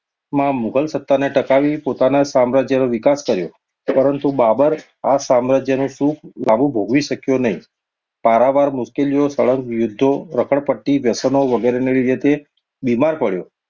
માં મુઘલ સ્થાને ટકાવી પોતાના સામ્રાજ્ય નો વિકાસ કર્યો. પરંતુ બાબર આ સામ્રાજ્યનું સુખ લાબું ભોગવી શક્યો નહિ. પારાવાર મુશ્કેલીઓ, સળંગ યુધો, રખડ પટ્ટી, વ્યસનો વગેરે ને લીધે તે બીમાર પડયો.